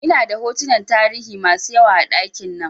Ina da hotunan tarihi masu yawa a ɗakin nan